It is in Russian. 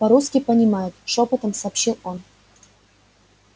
по-русски понимают шёпотом сообщил он